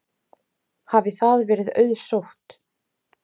Hafi það verið auðsótt.